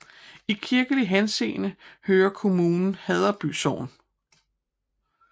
I kirkelig henseende hører kommunen Haddeby Sogn